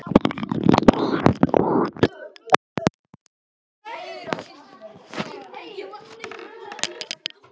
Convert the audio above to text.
Hvað hét þessi sveit?